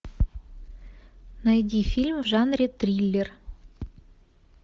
найди фильм в жанре триллер